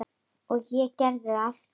Og ég gerði það aftur.